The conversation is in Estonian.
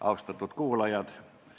Austatud kuulajad!